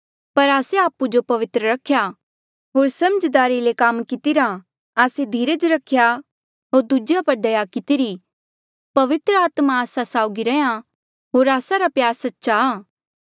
पर आस्से आपु जो पवित्र रखेया होर समझदारी से काम कितिरा आस्से धीरज रखेया होर दूजेया पर दया कितिरी पवित्र आत्मा आस्सा साउगी रैंह्यां होर आस्सा रा प्यार सच्चा